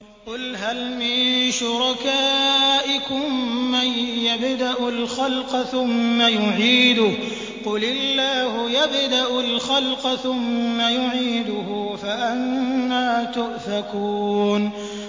قُلْ هَلْ مِن شُرَكَائِكُم مَّن يَبْدَأُ الْخَلْقَ ثُمَّ يُعِيدُهُ ۚ قُلِ اللَّهُ يَبْدَأُ الْخَلْقَ ثُمَّ يُعِيدُهُ ۖ فَأَنَّىٰ تُؤْفَكُونَ